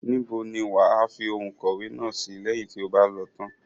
Níbo ni wàá fi ohun ìkọ̀wẹ́ náà sìí, lẹ́yìn tí o bá lòó tán?